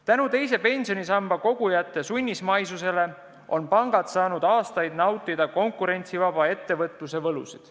Tänu teise pensionisambasse raha kogujate sunnismaisusele on pangad saanud aastaid nautida konkurentsivaba ettevõtluse võlusid.